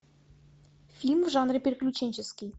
фильм в жанре приключенческий